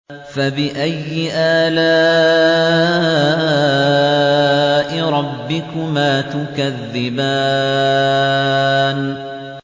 فَبِأَيِّ آلَاءِ رَبِّكُمَا تُكَذِّبَانِ